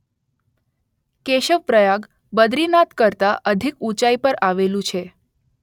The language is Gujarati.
કેશવપ્રયાગ બદ્રીનાથ કરતાં અધિક ઉચાઈ પર આવેલું છે